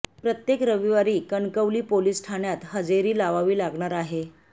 प्रत्येक रविवारी कणकवली पोलीस ठाण्यात हजेरी लावावी लागणार आहे